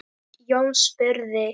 Jón spurði